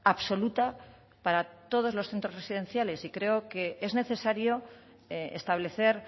absoluta para todos los centros residenciales y creo que es necesario establecer